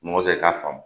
Mɔgɔ tɛ k'a faamu